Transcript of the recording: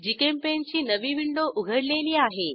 GChemPaint ची नवी window उघडलेली आहे